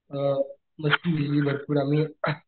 अ मस्ती केली भरपूर आम्ही